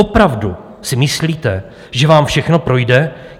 Opravdu si myslíte, že vám všechno projde?